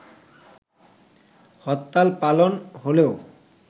হরতাল পালন হলেও